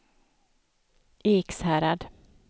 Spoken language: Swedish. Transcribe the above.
Ekshärad